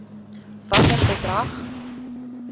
watter bedrag